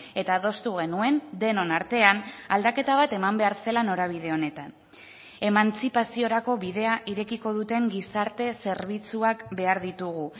eta adostu genuen denon artean aldaketa bat eman behar zela norabide honetan emantzipaziorako bidea irekiko duten gizarte zerbitzuak behar ditugu